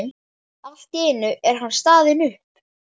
Allt í einu er hann staðinn upp.